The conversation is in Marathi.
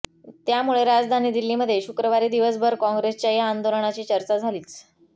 त्यामुळे राजधानी दिल्लीमध्ये शुक्रवारी दिवसभर काँग्रेसच्या या आंदोलनाची चर्चा झालीच